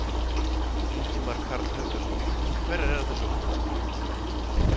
Ingimar Karl Helgason: Hverjar eru þessar útfærslur?